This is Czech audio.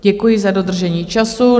Děkuji za dodržení času.